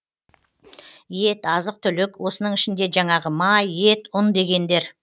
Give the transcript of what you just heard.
ет азық түлік осының ішінде жәңағы май ет ұн дегендер